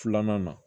Filanan na